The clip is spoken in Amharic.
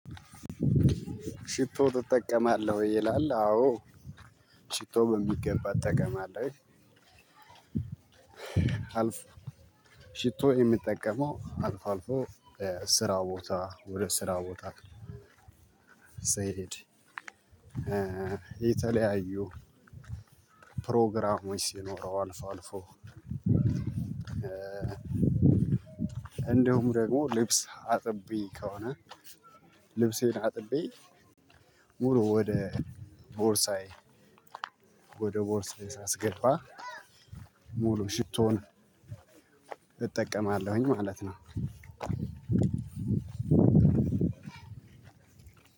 ሽቶ ትጠቀማለህ ወይ ይላል? አዎ ሽቶ በሚገባ እጠቀማለሁ። አልፎ ሽቶ የሚጠቀመው አልፎ አልፎ ስራ ቦታ ወደ ስራ ቦታ። ስሄድ የተለያዩ ፕሮግራሞች ሲኖሩ አልፎ አልፎ። እንደውም ደግሞ ልብስ አጥቤ ከሆነ። ልብሴን አጥቤ ሙሉ ወደ ቦርሳዬ ወደ ቦርስዬ ሳስገባ ሙሉ ሽቶን እጠቀማለሁኝ ማለት ነው።